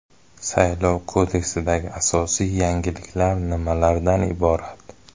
Saylov kodeksidagi asosiy yangiliklar nimalardan iborat?.